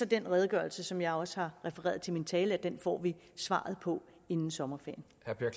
den redegørelse som jeg også har refereret i min tale at vi får svaret på det inden sommerferien